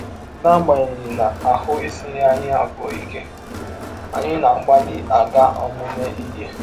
N’agbanyeghị na ahụ́ esighị anyị abụọ ike, anyị na - agbalị aga ọmụmụ ihe.